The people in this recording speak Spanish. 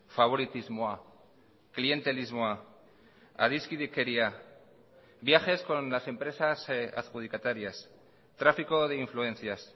faboritismoa klientelismoa adiskidekeria viajes con las empresas adjudicatarias tráfico de influencias